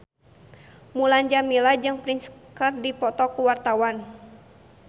Mulan Jameela jeung Prince keur dipoto ku wartawan